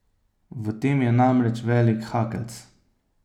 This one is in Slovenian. V tem je namreč velik hakeljc.